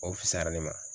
O fusara ne ma